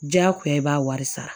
Diyagoya i b'a wari sara